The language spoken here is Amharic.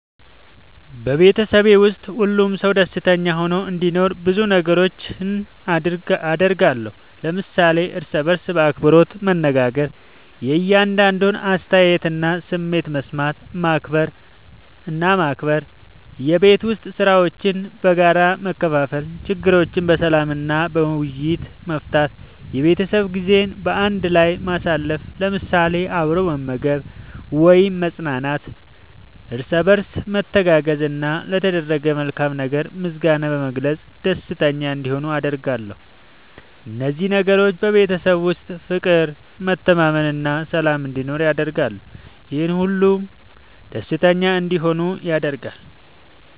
በቤተሰቤ ውስጥ ሁሉም ሰው ደስተኛ ሆኖ እንዲኖር ብዙ ነገሮችን አደርጋለሁ።። ለምሳሌ፦ እርስ በርስ በአክብሮት መነጋገር። የእያንዳንዱን አስተያየትና ስሜት መስማት እና ማክበር፣ የቤት ዉስጥ ሥራዎችን በጋራ መከፋፈል፣ ችግሮችን በሰላም እና በውይይት መፍታት፣ የቤተሰብ ጊዜ በአንድ ላይ ማሳለፍ ለምሳሌ፦ አብሮ መመገብ ወይም መዝናናት፣ እርስ በርስ መተጋገዝ፣ እና ለተደረገ መልካም ነገር ምስጋና በመግለጽ ደስተኛ እንዲሆኑ አደርጋለሁ። እነዚህ ነገሮች በቤተሰብ ውስጥ ፍቅር፣ መተማመን እና ሰላም እንዲኖር ያደርጋሉ፤ ይህም ሁሉም ደስተኛ እንዲሆኑ ያደርጋል።